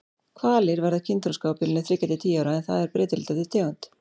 Hvalir verða kynþroska á bilinu þriggja til tíu ára en það er breytilegt eftir tegund.